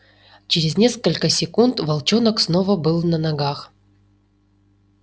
через несколько секунд волчонок снова был на ногах